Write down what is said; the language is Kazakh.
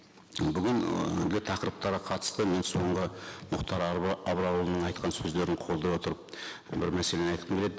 бүгін і тақырыптарға қатысты мен соңғы мұхтар абрарұлының айтқан сөздерін қолдай отырып бір мәселені айтқым келеді